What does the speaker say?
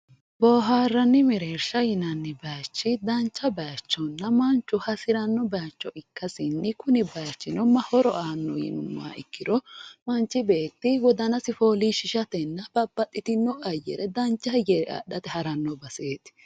Booharanni mereersha yinnanni bayichi dancha bayichonna manchu hasirano bayicho ikkasinni kunni bayichino horo aannoho yinnuummoha ikkiro manchi beetti wodanasi foolishishatenna babbaxxitino hayyo dancha ayare adhate ha'rano baseti.